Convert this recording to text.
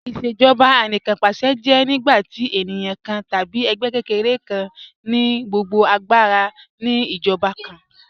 Ìṣèjọba Anìkanpàṣẹ jẹ́ nígbàtí ènìyàn kàn tàbí ègbẹ́ kẹ́kẹ̀rẹ̀ kàn ni gbogbo agbàra ni ìjọba kàn